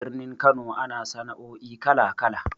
Birnin Kano ana sana'o'i kala-kala.